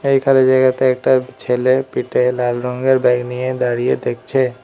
এই খালি জায়গাতে একটা ছেলে পিঠে লাল রঙ্গের ব্যাগ নিয়ে দাঁড়িয়ে দেখছে।